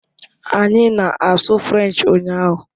Anyị na-asụ French ụnyahụ